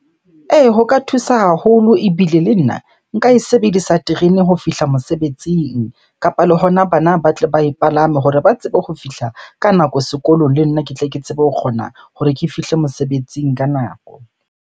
Ee, ho ka thusa haholo ebile le nna nka e sebedisa terene ho fihla mosebetsing. Kapa le hona bana ba tle ba e palame hore ba tsebe ho fihla ka nako sekolong, le nna ke tle ke tsebe ho kgona hore ke fihle mosebetsing ka nako.